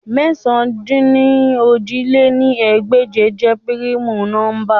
Mẹ̀sán-dín-ní-ojì lé ní ẹgbẹ́je jẹ primu nọmba